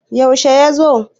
yaushe ya zo?